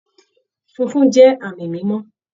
Funfun jẹ́ àmì mímọ́